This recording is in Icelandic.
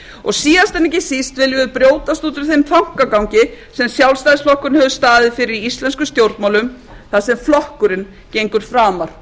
og síðast en ekki síst viljum við brjótast út úr þeim þankagangi sem sjálfstæðisflokkurinn hefur staðið fyrir í íslenskum stjórnmálum þar sem flokkurinn gengur framar